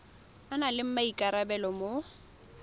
a nang le maikarabelo mo